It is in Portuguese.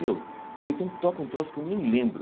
Meu, ou então toca um troço que eu nem lembro.